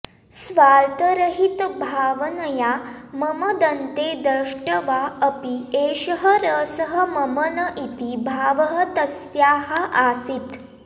स्वार्थरहितभावनया मम दन्ते दष्ट्वा अपि एषः रसः मम न इति भावः तस्याः आसीत्